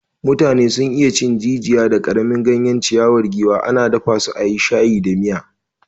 Mutane sun iya cin jijiya da karamin ganyen ciyawar giwa, ana dafa su a yi shayi da miya.